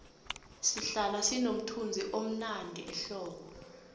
isihlahla sinomthunzivmnandi ehlobo